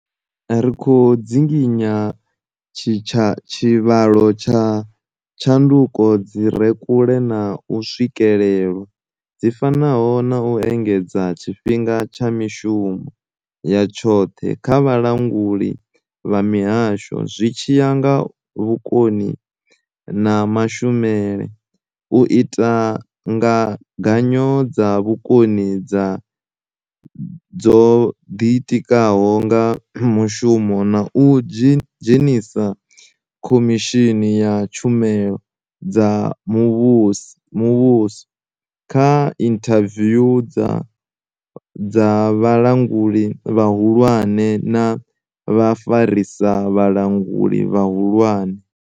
Ri khou dzinginya tshivhalo tsha tshanduko dzi re kule na u swikelwa, dzi fanaho na u engedza tshifhinga tsha mishumo ya tshoṱhe kha Vhalanguli vha mihasho zwi tshi ya nga vhukoni na mashumele, u ita ngaganyo dza vhukoni dzo ḓitikaho nga mushumo na u dzhenisa Khomishini ya tshumelo dza muvhuso kha inthaviwu dza vhalanguli vhahulwane na vhafarisa vhalanguli vhahulwane.